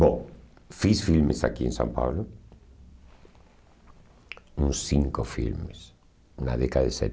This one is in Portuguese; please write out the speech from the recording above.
Bom, fiz filmes aqui em São Paulo, uns cinco filmes, na década de